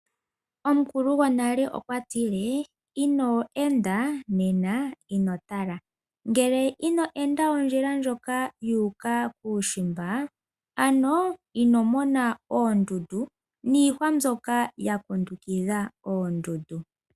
Omukulu gonale okwatile ino enda ino mona, ngele ino enda ondjila ndjoka yuuka kuushimba, ano ino mona oondundu niihwa mbyoka ya kundukidha oondundu.